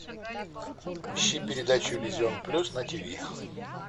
ищи передачу иллюзион плюс на тиви